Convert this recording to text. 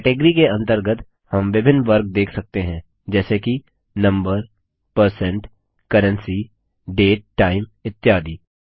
category के अंतर्गत हम विभिन्न वर्ग देख सकते हैं जैसे कि number percent currency date time इत्यादि